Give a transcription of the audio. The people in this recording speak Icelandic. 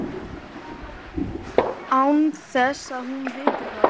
Án þess að hún viti það.